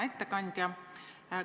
Hea ettekandja!